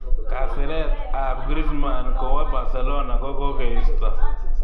Kasiret ab Griezmann kowa Barcelona kokokeisto?